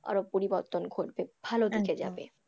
আরো পরিবর্তন ঘটবে ভালো দিকে যাবে।